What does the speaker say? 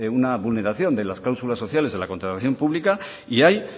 una vulneración de las cláusulas sociales de la contratación pública y hay